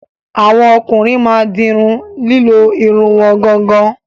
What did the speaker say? Àwọn ọkùnrin ma dirun lilo Irun wọn gangan.